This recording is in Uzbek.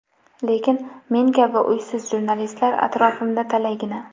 Lekin men kabi uysiz jurnalistlar atrofimda talaygina.